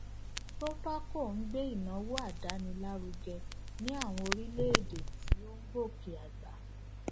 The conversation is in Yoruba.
proparco ń gbé ìnáwó àdáni lárugẹ ní àwọn orílèèdè tó ń gòkè àgbà